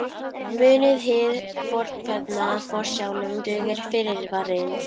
Munið hið fornkveðna: Forsjálum dugir fyrirvarinn.